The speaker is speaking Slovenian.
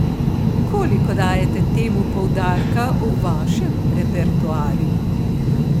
Koliko dajete temu poudarka v vašem repertoarju?